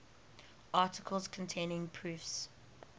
articles containing proofs